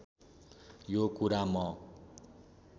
यो कुरा म